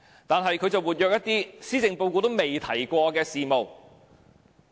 但是，他卻積極進行一些施政報告沒提及的事務。